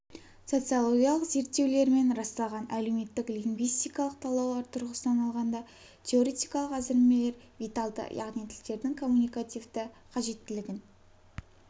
социологиялық зерттеулермен расталған әлеуметтік лингвистикалық талдаулар тұрғысынан алғанда теоретикалық әзірлемелер виталды яғни тілдердің коммуникативті қажеттілігін